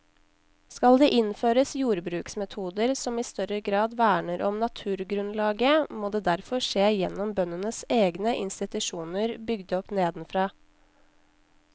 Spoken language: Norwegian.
Skal det innføres jordbruksmetoder som i større grad verner om naturgrunnlaget, må det derfor skje gjennom bøndenes egne institusjoner bygd opp nedenfra.